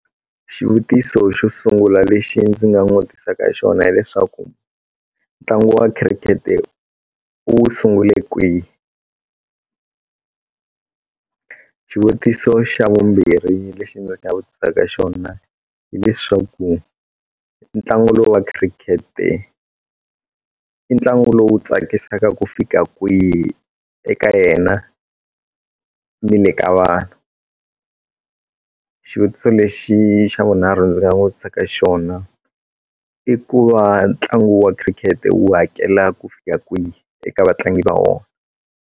Xivutiso xo sungula lexi ndzi nga n'wi vutisaka hi xona hileswaku ntlangu wa cricket u wu sungule kwihi xivutiso xa vumbirhi lexi ndzi nga vutisaka xona hileswaku ntlangu lowu wa cricket i ntlangu lowu tsakisaka ku fika kwihi eka yena ni le ka vanhu xivutiso lexi xa vunharhu ndzi vutisaka xona i ku va ntlangu wa cricket wu hakela ku fika kwihi eka vatlangi va wona.